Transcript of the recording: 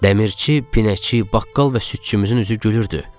Dəmirçi, pinəkçi, baqqal və südçümüzün üzü gülürdü.